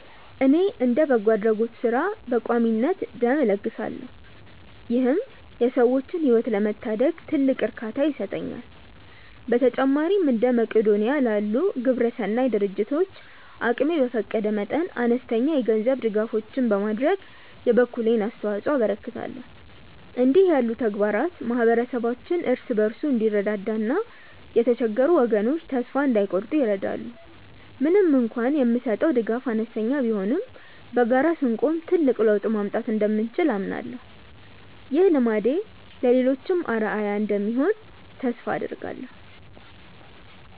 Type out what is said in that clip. እኔ እንደ በጎ አድራጎት ሥራ በቋሚነት ደም እለግሳለሁ ይህም የሰዎችን ሕይወት ለመታደግ ትልቅ እርካታ ይሰጠኛል። በተጨማሪም እንደ መቅዶንያ ላሉ ግብረሰናይ ድርጅቶች አቅሜ በፈቀደ መጠን አነስተኛ የገንዘብ ድጋፎችን በማድረግ የበኩሌን አስተዋጽኦ አበረክታለሁ። እንዲህ ያሉ ተግባራት ማኅበረሰባችን እርስ በርሱ እንዲረዳዳና የተቸገሩ ወገኖች ተስፋ እንዳይቆርጡ ይረዳሉ። ምንም እንኳን የምሰጠው ድጋፍ አነስተኛ ቢሆንም በጋራ ስንቆም ትልቅ ለውጥ ማምጣት እንደምንችል አምናለሁ። ይህ ልማዴ ለሌሎችም አርአያ እንደሚሆን ተስፋ አደርጋለሁ።